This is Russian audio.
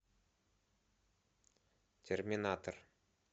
терминатор